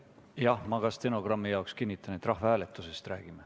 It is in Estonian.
Jah, ma ka stenogrammi jaoks kinnitan, et me räägime rahvahääletusest.